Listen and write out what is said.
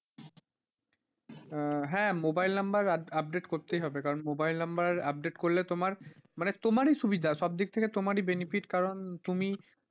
হ্যাঁ mobile number update করতেই হবে কারণ mobile number update করলে তোমার মানে তোমারি সুবিধা সব দিক থেকে তোমারই benefit কারণ তুমি,